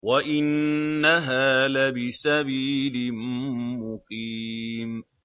وَإِنَّهَا لَبِسَبِيلٍ مُّقِيمٍ